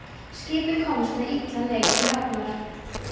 Skipið komst við illan leik til hafnar.